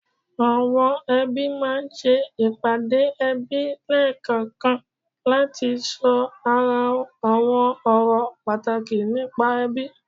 Àwọn ẹbí máa ń ṣe ìpàdé ẹbí lẹ́ẹ̀kankan láti sọ àwọn ọ̀rọ̀ pàtàkì nípa ẹbí